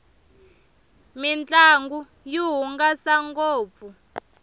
mintlangu yi hungasa ngopfu